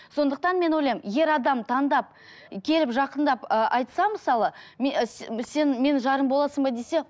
сондықтан мен ойлаймын ер адам таңдап келіп жақындап ы айтса мысалы сен менің жарым боласың ба десе